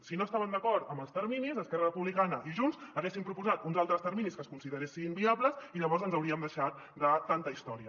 si no estaven d’acord amb els terminis esquerra re·publicana i junts haguessin proposat uns altres terminis que es consideressin via·bles i llavors ens hauríem deixat de tanta història